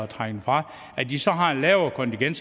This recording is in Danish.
trække det fra at de så har et lavere kontingent